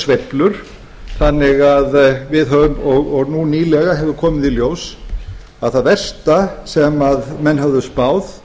sveiflur og nú nýlega hefur komið í ljós að það versta sem menn höfðu spáð